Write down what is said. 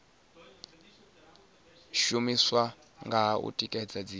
shumiswa kha u tikedza dziṅwe